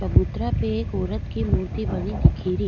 चबुतरा पे एक औरत की मूर्ति बनी दिखी री।